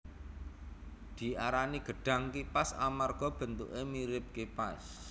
Diarani gedhang kipas amarga bentuké mirip kipas